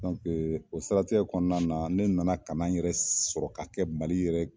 dɔnke o sirati kɔnɔna na ne nana kana yɛrɛ sɔrɔ ka kɛ mali yɛrɛ